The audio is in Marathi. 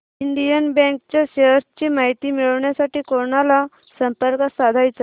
इंडियन बँक च्या शेअर्स ची माहिती मिळविण्यासाठी कोणाला संपर्क साधायचा